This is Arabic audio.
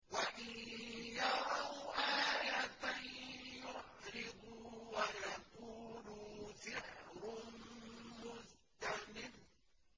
وَإِن يَرَوْا آيَةً يُعْرِضُوا وَيَقُولُوا سِحْرٌ مُّسْتَمِرٌّ